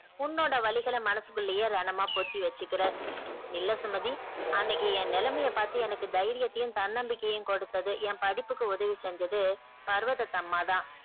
உன்னோட வலிகள மனசுக்குள்ளேயே ரணமா பொத்தி வச்சிகுற இல்ல சுமதி அன்னைக்கு என் நிலைமைய பார்த்து எனக்கு தைரியத்தையும் தன்னம்பிக்கையையும் கொடுத்தது என் படிப்புக்கு உதவி செஞ்சது பருவதத்து அம்மா தான்